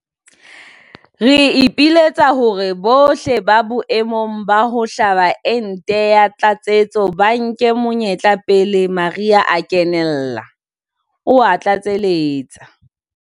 Re ipiletsa hore bohle ba boemong ba ho hlaba ente ya tlatsetso ba nke monyetla pele mariha a kenella," o a tlatseletsa.